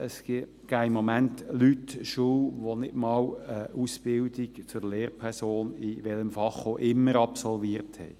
Im Moment unterrichten Personen, die nicht einmal eine Ausbildung zur Lehrperson – in welchem Fach auch immer – absolviert haben.